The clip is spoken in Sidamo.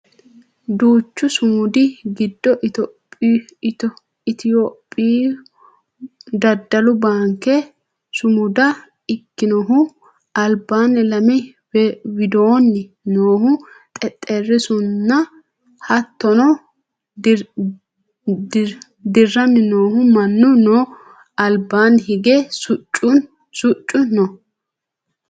duuchu sumudi giddo itiyophiyu daddalu baanke sumuda ikkinohu albaanni lame widoonni noohu xexxerrisunna hattono dirranni noohu mannu no albaanni hige siccu no